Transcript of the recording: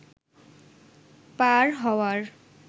পার হওয়ার